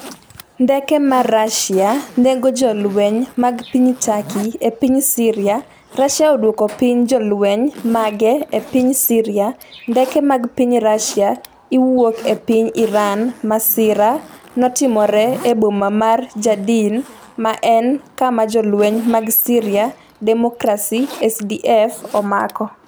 Ndeke mar Russia nego jolweny mag piny Turkey e piny Syria Russia odwoko piny jolweny mage e piny Syria Ndeke mag piny Rusia iwuok e piny Iran Masira notimore e boma mar Ja'Din, ma en kama Jolweny mag Syria Democracy (SDF) omako.